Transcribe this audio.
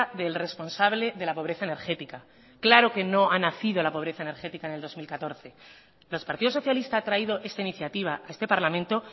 del responsable de la pobreza energética claro que no ha nacido la pobreza energética en el dos mil catorce los partidos socialista ha traído esta iniciativa a este parlamento